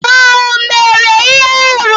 Ọ mere ihe arụ?